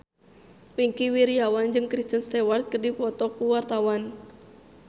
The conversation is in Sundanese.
Wingky Wiryawan jeung Kristen Stewart keur dipoto ku wartawan